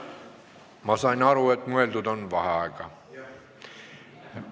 Ma sain aru, et mõeldud on vaheaega.